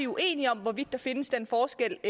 uenige om hvorvidt der findes den forskel